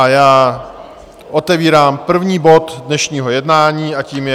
A já otevírám první bod dnešního jednání a tím je